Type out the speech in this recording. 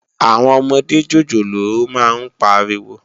Áwòn òmòdé jójólóò má n párìwó